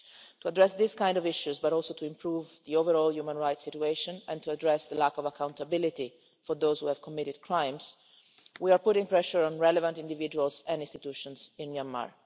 To address these kinds of issues, as well as to improve the overall human rights situation and address the lack of accountability for those who have committed crimes, we are putting pressure on relevant individuals and institutions in Myanmar.